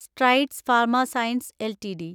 strides pharma science LTD